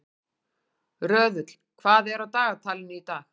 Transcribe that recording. Röðull, hvað er á dagatalinu í dag?